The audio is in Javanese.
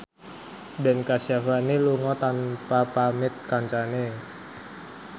Ben Kasyafani lunga tanpa pamit kancane